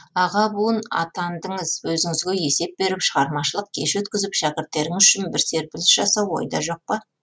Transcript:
аға буын атандыңыз өзіңізге есеп беріп шығармашылық кеш өткізіп шәкірттеріңіз үшін бір серпіліс жасау ойда жоқ па